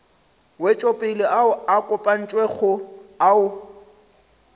wetšopele ao a kopantšwego ao